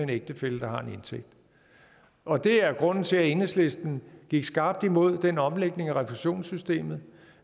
ægtefælle har en indtægt og det er grunden til at enhedslisten gik skarpt imod den omlægning af refusionssystemet